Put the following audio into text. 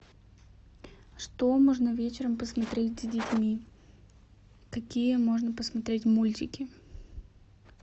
что можно вечером посмотреть с детьми какие можно посмотреть мультики